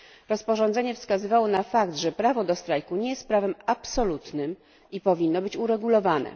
Rozporządzenie wskazywało na fakt, że prawo do strajku nie jest prawem absolutnym i powinno być uregulowane.